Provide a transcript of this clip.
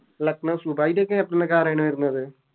Lucknow സു അയിൻറെ Captain നോക്കെ ആരാണ് വരുന്നത്